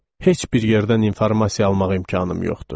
Heç bir yerdən informasiya almaq imkanım yoxdur.